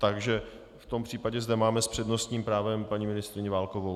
Takže v tom případě zde máme s přednostním právem paní ministryni Válkovou.